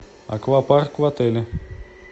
аквапарк в отеле